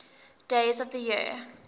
days of the year